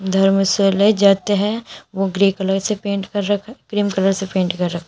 धर्मशाला जाते हैं वह ग्रे कलर से पेंट कर रखा क्रीम कलर से पेंट कर रखा--